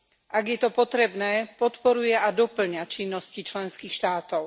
Ak je to potrebné, podporuje a dopĺňa činnosti členských štátov.